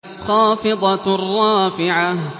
خَافِضَةٌ رَّافِعَةٌ